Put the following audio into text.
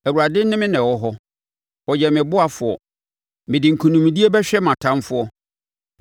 Awurade ne me wɔ hɔ; ɔyɛ me ɔboafoɔ. Mede nkonimdie bɛhwɛ mʼatamfoɔ.